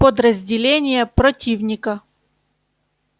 подразделения противника